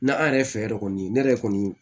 Na an yɛrɛ fɛ yan yɛrɛ kɔni ne yɛrɛ kɔni